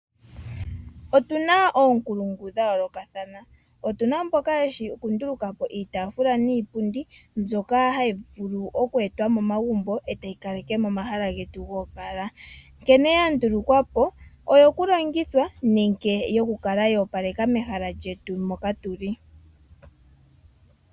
Otu na oonkulungu dha yoolokathana, otu na mboka yeshi oku nduluka po iitaafula niipundi mbyoka hayi vulu oku etwa komagumbo e tayi kaleke momahala getu po opala nkene ya ndulukwa po oyo ku landithwa nenge yo ku kala yo opaleka megumbo, mehala lyetu moka tu li.